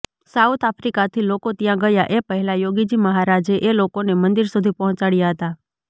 south આફ્રિકાથી લોકો ત્યાં ગયાં એ પહેલા યોગીજી મહારાજે એ લોકોને મંદિર સુધી પહોંચાડ્યાં હતાં